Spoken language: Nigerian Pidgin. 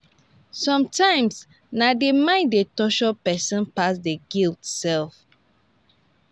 somtimes na di mind dey torture pesin pass di guilt sef